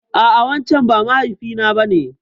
A'a wancen ba mahaifi na ba ne.